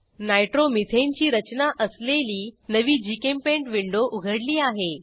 nitromethane ची रचना असलेली नवी जीचेम्पेंट विंडो उघडली आहे